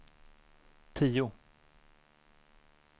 tio